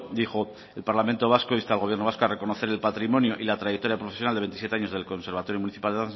dijo el parlamento vasco insta al gobierno vasco a reconocer el patrimonio y la trayectoria profesional de veintisiete años del conservatorio municipal